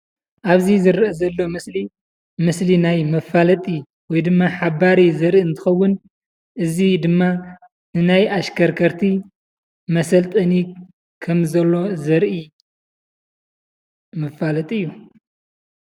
አብዚ ዝርአ ዘሎ ምስሊ ምስሊ ናይ መፋለጢ ወይ ድማ ሓባሪ ዘርኢ እንትኸውን፤ እዚ ድማ ንናይ አሽከርከርቲ መሰልጠኒ ከም ዘሎ ዘርኢ መፋለጢ እዩ፡፡